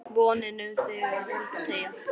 VONIN um þig er volg teygja